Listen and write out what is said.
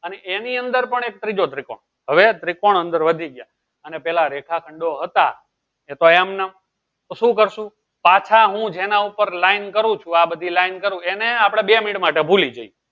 અને એની અંદર પણ એક ત્રીજો ત્રિકોણ હવે ત્રિકોણ અંદર વધી ગયા એના પેહલા રેખા ખંડો હતા એ તો એમ નો તો શું કરશું પાછા હું જયારે એના ઉપર line કરું છું આ બધી line કરું એને આપળે બે મિનટ માટે ભૂલી જયીયે